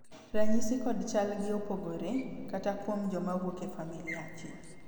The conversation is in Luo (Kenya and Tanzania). ranyisi kod chal gi opogore, kata kuom joma wuok e familia achiel